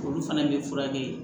Olu fana bɛ furakɛ